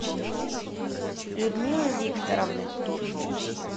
людмилы викторовны